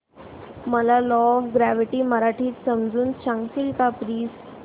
मला law of gravity मराठीत समजून सांगशील का प्लीज